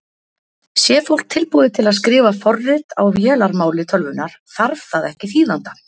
Sé fólk tilbúið til að skrifa forrit á vélarmáli tölvunnar þarf það ekki þýðanda.